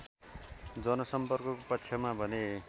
जनसम्पर्कको पक्षमा भने